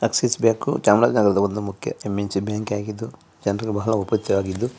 ನಮ್ಮ್ Swiss bank